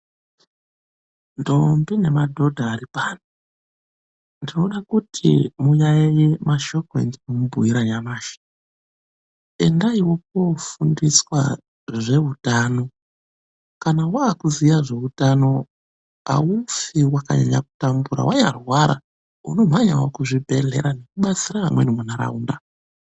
Ndombi nemadhodha aripano ,ndinoda kuti muyayiye mashoko endinomubhuyira nyamashi. Endaiwo mwofundiswa zveutano, kana waakuziya zveutano haufi wakanyanya kutambura wanyarwara unomhanyawo kuzvibhedhlera nekudetsera anhani muntaraunda.